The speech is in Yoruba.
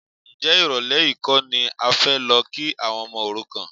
Ǹjẹ́ ìrọ̀lẹ́ yìí kọ́ ni a fẹ́ lọ kí àwọn ọmọ òrukàn?